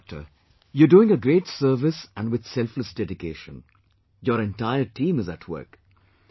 Fine Doctor, you are doing a great service and with selfless dedication...your entire team is at work